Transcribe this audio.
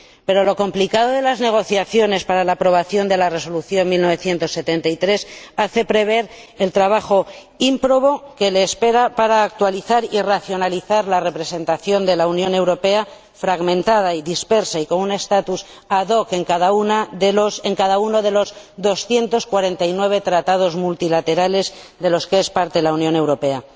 Pero lo complicado de las negociaciones para la aprobación de la Resolución 1973 hace prever el trabajo ímprobo que le espera para actualizar y racionalizar la representación de la Unión Europea, fragmentada y dispersa y con un estatus ad hoc en cada uno de los 249 Tratados multilaterales de los que es parte la Unión Europea.